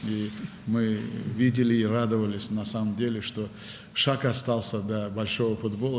Və biz həqiqətən gördük və sevindik ki, böyük futbola bir addım qalıb.